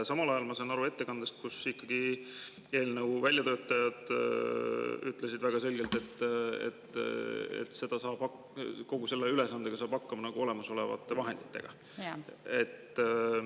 Samal ajal ma sain aru ettekandest, et eelnõu väljatöötajad ütlesid väga selgelt, et selle ülesande saab olemasolevate vahenditega.